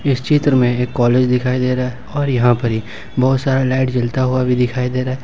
इस चित्र में एक कॉलेज दिखाई दे रहा है और यहां पर ही बहुत सारे लाइट जलता हुआ अभी दिखाई दे रहा है।